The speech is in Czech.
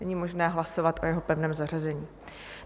Není možné hlasovat o jeho pevném zařazení.